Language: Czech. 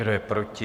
Kdo je proti?